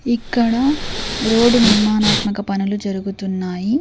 ఇక్కడ రోడ్డు నిర్మాణాత్మక పనులు జరుగుతున్నాయి.